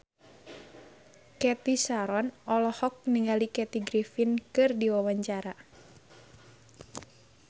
Cathy Sharon olohok ningali Kathy Griffin keur diwawancara